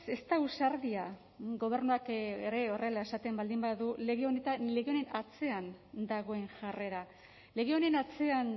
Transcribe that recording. ez da ausardia gobernuak ere horrela esaten baldin badu lege honen atzean dagoen jarrera lege honen atzean